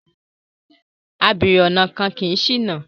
Abèrè ọ̀nà kì í ṣìnà